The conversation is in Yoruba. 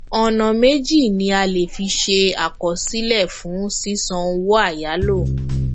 ọnà méjì ni a le fi ṣe àkọsílẹ fún sísan owó àyálò